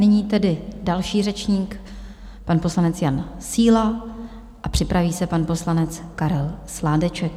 Nyní tedy další řečník, pan poslanec Jan Síla, a připraví se pan poslanec Karel Sládeček.